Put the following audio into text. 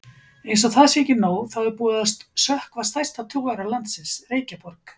Einsog það sé ekki nóg, þá er búið að sökkva stærsta togara landsins, Reykjaborg.